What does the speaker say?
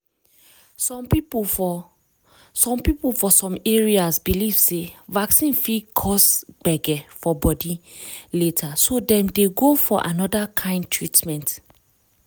some people for some people for some areas believe sey vaccine fit cause gbege for body later so dem dey go for another kind treatment.